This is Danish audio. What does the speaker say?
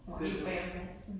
Helt bagom dansen